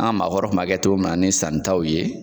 An ka maakɔrɔw m'a kɛ cogo min na ni sannitaw ye.